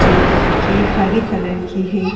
जो कि हरे कलर की है।